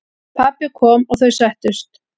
Pabbi kom og þau settust.